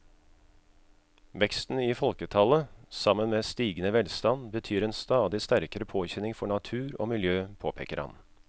Veksten i folketallet sammen med stigende velstand betyr en stadig sterkere påkjenning for natur og miljø, påpeker han.